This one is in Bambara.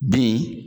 Bin